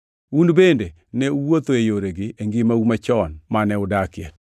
Un bende ne uwuotho e yoregi e ngimau machon mane udakie.